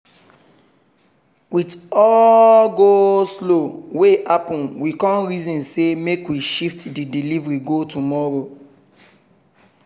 with all the go-slow wey happen we con reason say make we shift the delivery go tomorrow